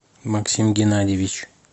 максим геннадьевич